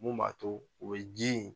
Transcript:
Mun b'a to , o ye ji ye